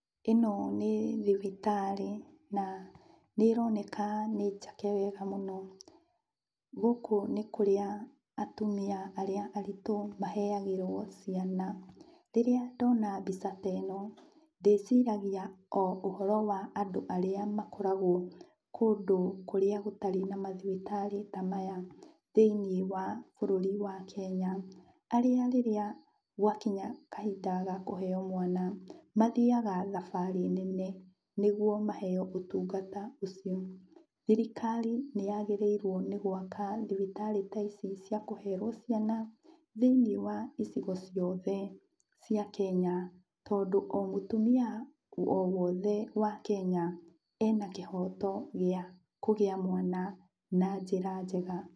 Ĩno nĩ thibitarĩ na nĩroneka nĩ njake wega mũno. Gũkũ nĩ kũrĩa atumia arĩa aritũ maheagĩrwo ciana. Rĩrĩa ndona mbica ta ĩno, ndĩciragia o ũhoro wa andũ arĩa makoragwo kũndũ kũrĩa gũtarĩ na mathibitarĩ ta maya, thĩiniĩ wa bũrũri wa Kenya. Arĩa rĩrĩa gwakinya kahinda ga kũheo mwana mathiaga thabarĩ nene nĩguo maheo ũtungata ũcio. Thirikari nĩyagĩrĩirwo nĩ gwaka thibitarĩ ta ici cia kũherwo ciana thĩiniĩ wa icigo ciothe cia Kenya, tondũ o mũtumia o wothe wa Kenya ena kĩhoto gĩa kũgĩa mwana na njĩra njega.